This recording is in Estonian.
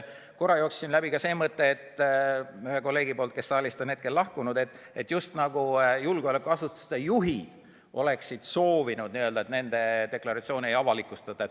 Korra jooksis siit läbi ka mõte – see kolleeg on saalist hetkel väljas –, et julgeolekuasutuste juhid oleksid nagu soovinud, et nende deklaratsioone ei avalikustata.